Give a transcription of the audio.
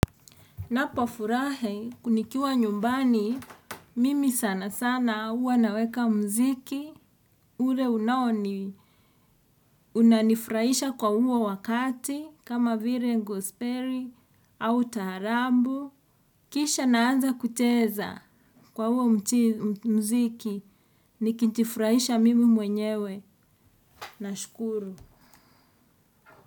Ninapofurahi nikiwa nyumbani, mimi sana sana huwa naweka muziki, ule unaoni, unanifurahisha kwa huo wakati, kama vile ngospeli, au taharabu, kisha naanza kucheza kwa huo muziki, nikijifurahisha mimi mwenyewe, nashukuru.